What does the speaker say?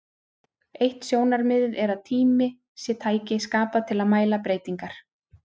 Eitt sjónarmiðið er að tími sé tæki skapað til að mæla breytingar.